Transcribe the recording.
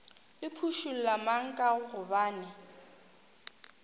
le phušula mang ka gobane